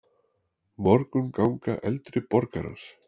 Morgunganga eldri borgarans.